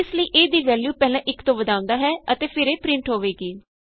ਇਸ ਲਈ a ਦੀ ਵੈਲਯੂ ਪਹਿਲਾਂ 1 ਤੋਂ ਵਧਾਉਂਦਾ ਹੈ ਅਤੇ ਫਿਰ ਇਹ ਪਰਿੰਟ ਹੋਵੇਗੀ